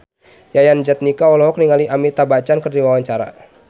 Yayan Jatnika olohok ningali Amitabh Bachchan keur diwawancara